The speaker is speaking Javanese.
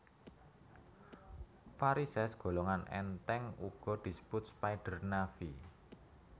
Varisès golongan èntèng uga disebut spider navy